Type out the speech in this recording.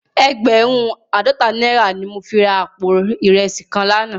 Ègbèrùn àádòtá nàirá ni mó fi rá àpó irèsí kán làná